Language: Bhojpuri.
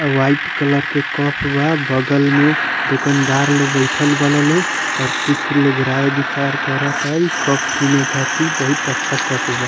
वाइट कलर के कप बा बगल में दुकानदार लोग बैठल बाड़न लोग और कुछ लोग राय विचार करता इ कप कीने खातिर बहुत अच्छा कप बा।